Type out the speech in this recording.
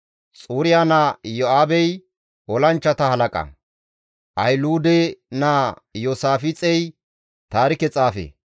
Xuriya naa Iyo7aabey olanchchata halaqa; Ahiluude naa Iyoosaafixey taarike xaafe.